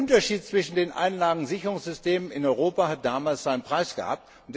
Der Unterschied zwischen den Einlagensicherungssystemen in Europa hat damals seinen Preis gehabt.